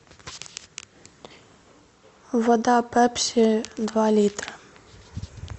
вода пепси два литра